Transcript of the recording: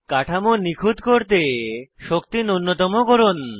কাঠামো নিখুত করতে শক্তি নুন্যতম করুন